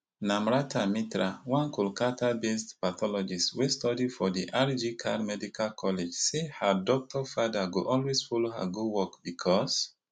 namrata mitra one kolkatabased pathologist wey study for di rg kar medical college say her doctor father go always follow her go work becos